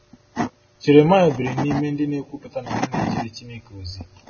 Jeremaịa biri n’ime ndị na-ekwupụta na ha na-ejere Chineke ozi.